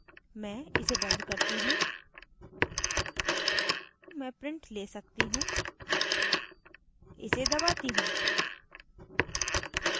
मैं इसे बंद करती हूँ मैं प्रिंट let सकती हूँ इसे दबाती हूँ